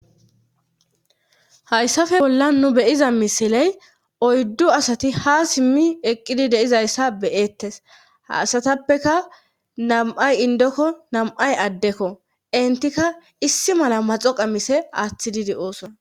Hayssafe bolla nu be7iza misiley oyddu asati ha simmi eqqidi deizayssa beyeettes haasatappeka nam7ay indokko nam7ay addekko entikka issi mala maxo qamise aaththididi de7ooson.